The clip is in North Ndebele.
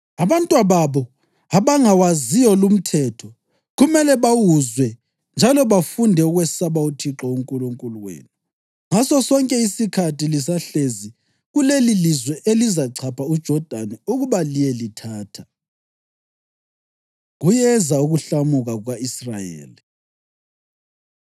Abantwababo, abangawaziyo lumthetho, kumele bawuzwe njalo bafunde ukwesaba uThixo uNkulunkulu wenu ngasosonke isikhathi lisahlezi kulelilizwe elizachapha uJodani ukuba liyelithatha.” Kuyeza Ukuhlamuka Kuka-Israyeli